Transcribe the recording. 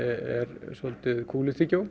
er svolítið